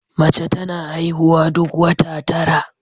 Mace tana haihuwa duk wata tara